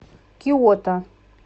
киото